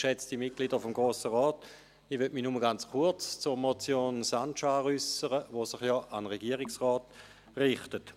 Ich möchte mich nur ganz kurz zur Motion Sancar äussern, welche sich an den Regierungsrat richtet.